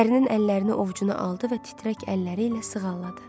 Ərinin əllərini ovcuna aldı və titrək əlləri ilə sığalladı.